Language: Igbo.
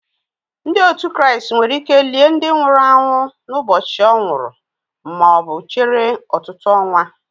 Ndị otu Kraịst nwere ike lie ndị nwụrụ anwụ n'ụbọchị o nwuru ma chere ọtụtụ ọnwa